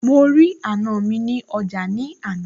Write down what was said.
mo rí àna mi nih ọjà ní àná